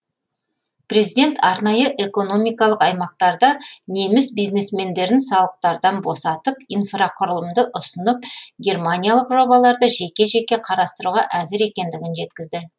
президент арнайы экономикалық аймақтарда неміс бизнесмендерін салықтардан босатып инфрақұрылымды ұсынып германиялық жобаларды жеке жеке қарастыруға әзір екендігін жеткізді